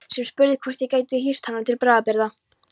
Sem spurði hvort ég gæti hýst hana til bráðabirgða.